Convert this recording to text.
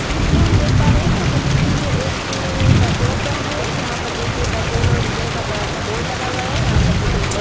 इस दॄश्य में हम देख पा रहै है की यहाँ पर देखिए ये एक पेट्रोल पंप है जहाँ पर देखिए पेट्रोल और डिजेल का बडा सा बोर्ड लगा हुआ है यहाँ पर ये एक बस --